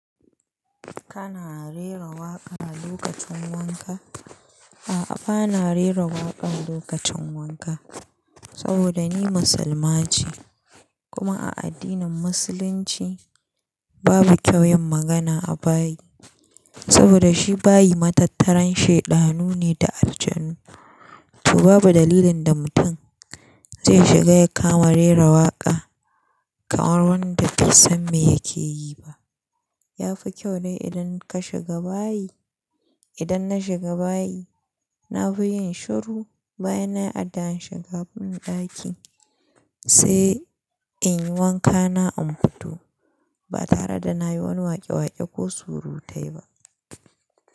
Kana rera waƙa lokacin wanka? A'a bana rera waƙa lokacin wanka. Saboda ni musulma ce kuma a addinin musulunci babu kyau yin magana a bayi. Saboda shi bayi matattaran sheɗanu ne da aljanu. To babu dalilin da mutum zai shiga ya kama rera waƙa kamar wanda bai san me yake yi ba. Ya fi kyau ne idan ka shiga bayi. Idan na shiga bayi, na fi yin shiru bayan nayi addu'an shiga ban ɗaki, sai in yi wankana in fito. Ba tare da na yi wani waƙe-waƙe ko surutai ba.